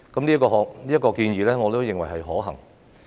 這項建議，我認為是可行的。